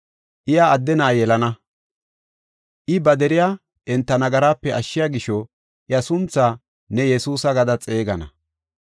Iya adde na7a yelana, I ba deriya enta nagaraape ashshiya gisho iya sunthaa ne Yesuusa gada xeegana.